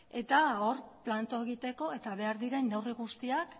eta hor planto egiteko eta behar diren neurri guztiak